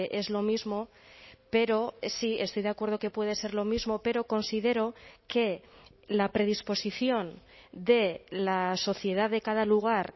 es lo mismo pero sí estoy de acuerdo que puede ser lo mismo pero considero que la predisposición de la sociedad de cada lugar